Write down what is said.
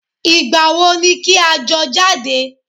Ìgbàwo ni kí a jọ jáde?